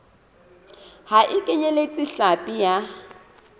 ha e kenyeletse hlapi ya